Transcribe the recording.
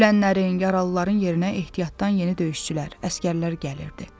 Ölənlərin, yaralıların yerinə ehtiyatdan yeni döyüşçülər, əsgərlər gəlirdi.